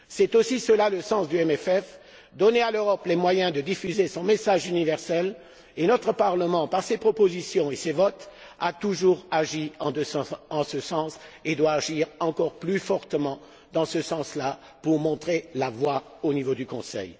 C'est aussi le sens du CFP de donner à l'Europe les moyens de diffuser son message universel. Notre Parlement, par ses propositions et ses votes, a toujours agi en ce sens et doit agir encore plus fortement dans ce sens là pour montrer la voie au niveau du Conseil.